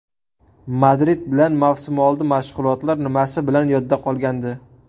Madrid bilan mavsumoldi mashg‘ulotlar nimasi bilan yodda qolgandi?